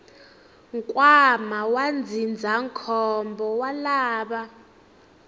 nkwama wa ndzindzakhombo wa lava